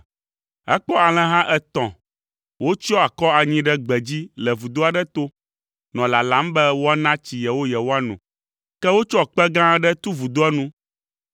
Ekpɔ alẽha etɔ̃ wotsyɔ akɔ anyi ɖe gbe dzi le vudo aɖe to, nɔ lalam be woana tsi yewo yewoano. Ke wotsɔ kpe gã aɖe tu vudoa nu.